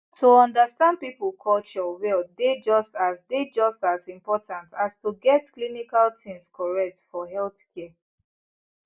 to understand people culture well dey just as dey just as important as to get clinical things correct for healthcare